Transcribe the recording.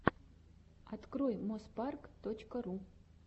открой моспарк точка ру